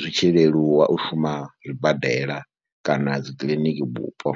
zwi tshi leluwa u shuma zwibadela kana dzikiḽiniki bupo.